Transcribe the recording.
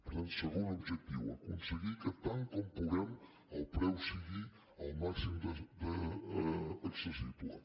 per tant segon objectiu aconseguir que tant com puguem el preu sigui al màxim d’accessible